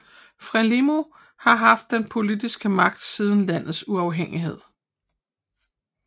Frelimo har haft den politiske magt siden landets uafhængighed